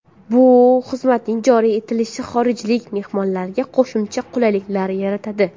Bu xizmatning joriy etilishi xorijlik mehmonlarga qo‘shimcha qulayliklar yaratadi.